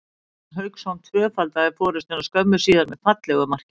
Óskar Örn Hauksson tvöfaldaði forystuna skömmu síðar með fallegu marki.